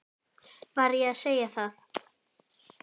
Var ég að segja það?